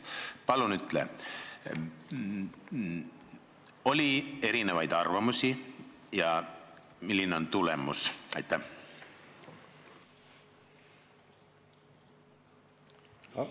Palun ütle, kas oli erinevaid arvamusi ja milline on tulemus!